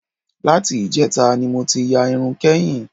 Láti ìjẹta ni mo ti ya irun kẹ́yìn